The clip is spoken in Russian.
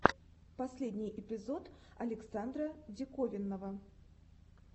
последний эпизод александра диковинного